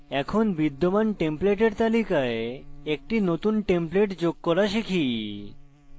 এখন বিদ্যমান template তালিকায় একটি নতুন template যোগ করা শিখি